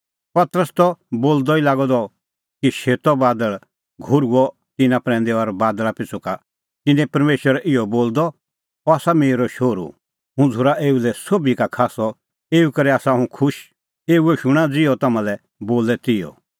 पतरस त बोलदअ ई लागअ द कि शेतअ बादल़ घोर्हुअ तिन्नां प्रैंदै और बादल़ा पिछ़ू का शूणअ तिन्नैं परमेशर इहअ बोलदअ अह आसा मेरअ शोहरू हुंह झ़ूरा एऊ लै सोभी का खास्सअ एऊ करै आसा हुंह खुश एऊए शूणां ज़िहअ तम्हां लै बोले तिहअ